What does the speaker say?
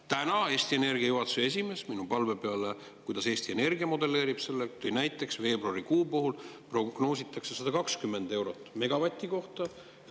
Täna tõi Eesti Energia juhatuse esimees minu palve peale selgitada, kuidas Eesti Energia modelleerib seda, näiteks, et veebruarikuuks prognoositakse 120 eurot megavati kohta.